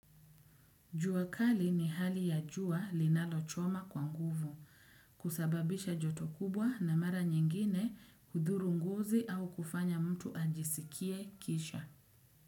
Jua kali ni hali ya juwa linalo choma kwa nguvu, kusababisha joto kubwa na mara nyingine hudhuru ngozi au kufanya mtu ajisikie kisha.